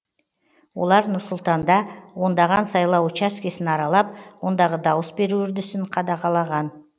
олар нұр сұлтанда ондаған сайлау учаскесін аралап ондағы дауыс беру үрдісін қадағалаған